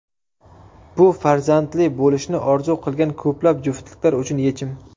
Bu farzandli bo‘lishni orzu qilgan ko‘plab juftliklar uchun yechim.